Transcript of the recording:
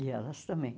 E elas também.